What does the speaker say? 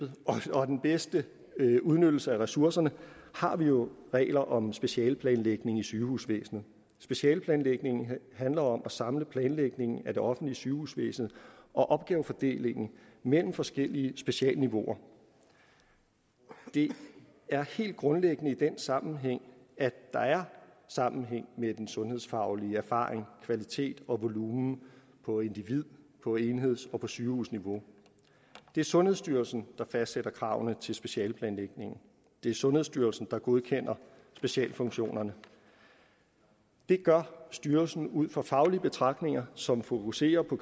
og den bedste udnyttelse af ressourcerne har vi jo regler om specialeplanlægning i sygehusvæsenet specialeplanlægningen handler om at samle planlægningen af det offentlige sygehusvæsen og opgavefordelingen mellem forskellige specialeniveauer det er helt grundlæggende i den sammenhæng at der er sammenhæng med den sundhedsfaglige erfaring kvalitet og volumen på individ på enheds og på sygehusniveau det er sundhedsstyrelsen der fastsætter kravene til specialeplanlægningen det er sundhedsstyrelsen der godkender specialfunktionerne det gør styrelsen ud fra faglige betragtninger som fokuserer på